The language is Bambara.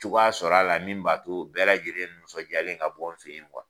Cogoya sɔrɔ a la min b'a to bɛɛ lajɛlen nisɔndiyalen ka bɔ n fɛ ye